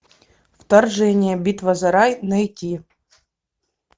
вторжение битва за рай найти